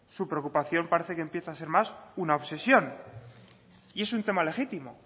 su preocupación parece que empieza a ser más una obsesión y es un tema legítimo